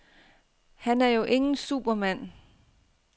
Han er jo ingen supermand.